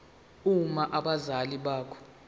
uma abazali bakho